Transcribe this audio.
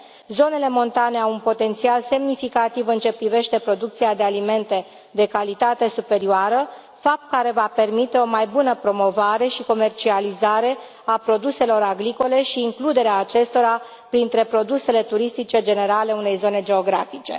Zonele montane au un potențial semnificativ în ceea ce privește producția de alimente de calitate superioară, fapt care va permite o mai bună promovare și comercializare a produselor agricole și includerea acestora printre produsele turistice generale ale unei zone geografice.